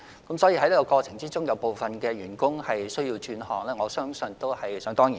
在這個過程中，部分員工需要轉行，我相信這是在所難免的。